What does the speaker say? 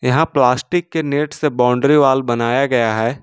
यहां प्लास्टिक के नेट से बाउंड्री वॉल बनाया गया है।